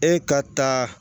E ka taa